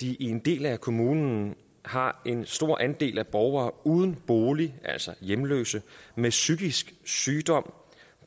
de i en del af kommunen har en stor andel af borgere uden bolig altså hjemløse med psykisk sygdom